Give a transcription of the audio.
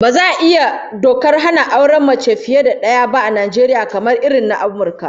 Baza a iya yin dokar hana auren mace fiye da daya ba a Najeriya, kamar irin na Amurka